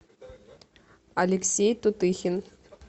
алексей тутыхин